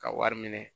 Ka wari minɛ